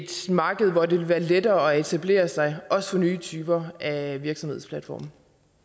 marked hvor det vil være lettere at etablere sig også for nye typer af virksomhedsplatforme